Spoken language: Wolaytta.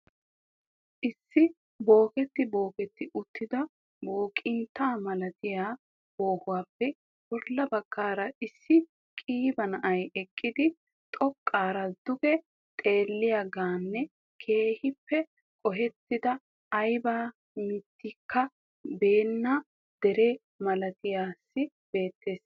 Issi booketti booketti uttida booqinta malatiyaa boohuuppe bolla baggaara issi qiiba naa'ay eqqidi xoqqaara duge xeelliyaageenne keehiippe qoheettida aybba mittikka beettenna dere malattiyasay beettees.